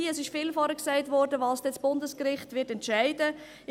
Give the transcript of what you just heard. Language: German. Es wurde vorher viel gesagt, was dann das Bundesgericht entscheiden wird.